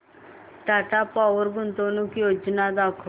Tata power गुंतवणूक योजना दाखव